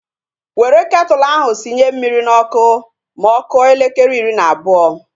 Were ketụlu ahu sinye mmiri n'ọkụ ma ọ kụọ elekere iri na abụọ!